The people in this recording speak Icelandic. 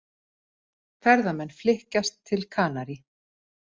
Ferðamenn flykkjast til Kanarí